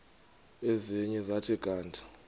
ezinye zathi kanti